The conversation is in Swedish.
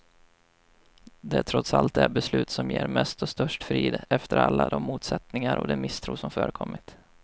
Det är trots allt det beslut som ger mest och störst frid, efter alla de motsättningar och den misstro som förekommit.